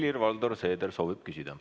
Helir-Valdor Seeder soovib küsida.